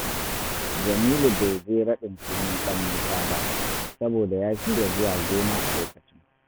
Jamilu bai je raɗin sunan ɗan Musa ba, saboda ya shirya zuwa gona a lokacin